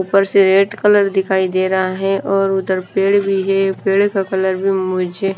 ऊपर से red colour दिखाई दे रहा है और उधर पेड़ भी है पेड़ का कलर भी मुझे--